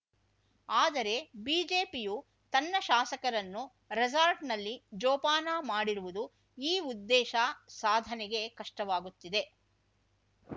ಆದರೆ ಬಿಜೆಪಿಯು ತನ್ನ ಶಾಸಕರನ್ನು ರೆಸಾರ್ಟ್‌ನಲ್ಲಿ ಜೋಪಾನ ಮಾಡಿರುವುದು ಈ ಉದ್ದೇಶ ಸಾಧನೆಗೆ ಕಷ್ಟವಾಗುತ್ತಿದೆ